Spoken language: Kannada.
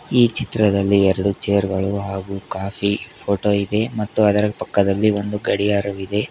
ಈ ಚಿತ್ರದಲ್ಲಿ ಎರಡು ಚೇರ್ ಗಳು ಹಾಗೂ ಕಾಫಿ ಫೋಟೋ ಇದೆ ಮತ್ತು ಅದರ ಪಕ್ಕದಲ್ಲಿ ಒಂದು ಗಡಿಯಾರವಿದೆ.